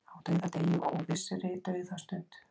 Á dauðadegi og óvissri dauðastund.